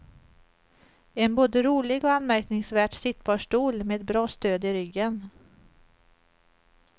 En både rolig och anmärkningsvärt sittbar stol, med bra stöd i ryggen.